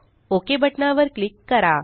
okay बटना वर click करा